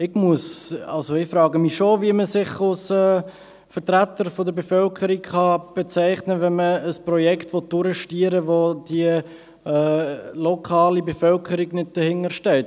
Ich frage mich schon, wie man sich als Vertreter der Bevölkerung bezeichnen kann, wenn man ein Projekt durchdrücken will, hinter welchem die lokale Bevölkerung nicht steht.